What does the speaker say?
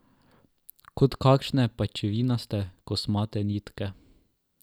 Kot kakšne pajčevinaste, kosmate nitke.